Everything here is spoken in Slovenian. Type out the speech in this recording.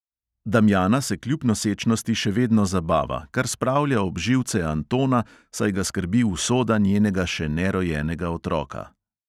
Damjana se kljub nosečnosti še vedno zabava, kar spravlja ob živce antona, saj ga skrbi usoda njenega še nerojenega otroka.